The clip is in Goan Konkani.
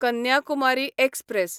कन्याकुमारी एक्सप्रॅस